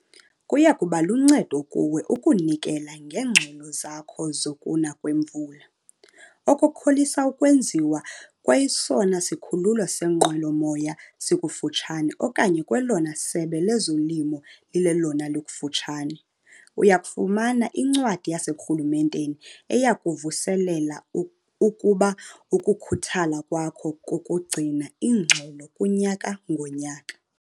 Kuya kuba luncedo kuwe ukunikela ngeengxelo zakho zokuna kwemvula, okukholisa ukwenziwa kwesona sikhululo seenqwelomoya sikufutshane okanye kwelona Sebe lezoLimo lilelona likufutshane. Uya kufumana incwadi yaseburhulumenteni eya kukuvuselela ukuba ukukhuthala kwakho kokugcina iingxelo kunyaka ngonyaka.